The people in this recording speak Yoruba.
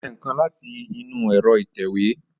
Ó tẹ nǹkan láti inú ẹ̀rọ ìtẹ̀wé